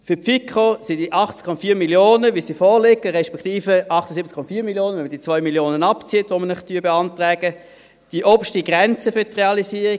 Für die FiKo sind die 80,4 Mio. Franken, wie sie vorliegen, respektive 78,4 Mio. Franken, wenn man die 2 Mio. Franken abzieht, die wir Ihnen beantragen, die oberste Grenze für die Realisierung.